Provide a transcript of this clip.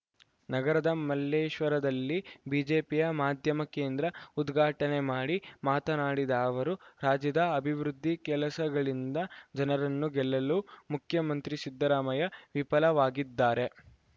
ನಗರದ ಮಲ್ಲೇಶ್ವರದಲ್ಲಿ ಬಿಜೆಪಿಯ ಮಾಧ್ಯಮ ಕೇಂದ್ರ ಉದ್ಘಾಟನೆ ಮಾಡಿ ಮಾತನಾಡಿದ ಅವರು ರಾಜ್ಯದ ಅಭಿವೃದ್ಧಿ ಕೆಲಸಗಳಿಂದ ಜನರನ್ನು ಗೆಲ್ಲಲು ಮುಖ್ಯಮಂತ್ರಿ ಸಿದ್ದರಾಮಯ್ಯ ವಿಫಲವಾಗಿದ್ದಾರೆ